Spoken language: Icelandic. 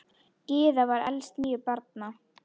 Gyða var elst níu barna.